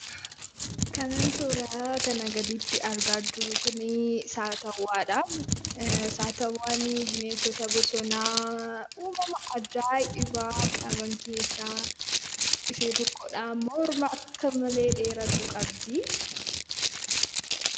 Kanan suuraa kanaa gaditti argaa jiru kunii, Saatawwaadhaa. Saatawwaan bineensota bosonaa uumamaa ajaa'ibaa qaban keessaa ishee tokkodha. Morma akka malee dheeeratu qabdi.